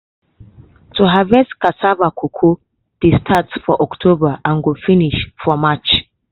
to harvest cocoa dey start for october and go finish for march.